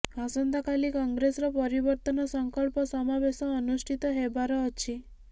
ଆସନ୍ତାକାଲି କଂଗ୍ରେସର ପରିବର୍ତ୍ତନ ସଂକଳ୍ପ ସମାବେଶ ଅନୁଷ୍ଠିତ ହେବାର ଅଛି